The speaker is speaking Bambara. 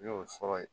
N y'o sɔrɔ yen